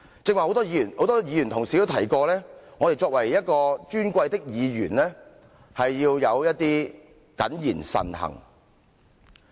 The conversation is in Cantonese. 剛才很多議員同事提到，我們作為一位尊貴的議員，要謹言慎行。